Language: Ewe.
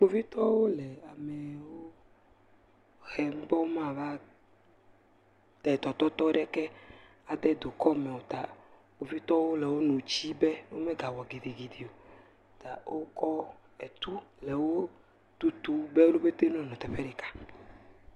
Kpovitɔwo le amewo hem be womava te tɔtɔt aɖeke va dukɔme o taa, wo ƒete wole wonu tsi be womegawɔ gidigidi o. Ta wokɔ etu le wotutu be wo ƒete wonenɔ teƒe ɖeka.